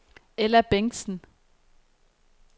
Ella Bengtsen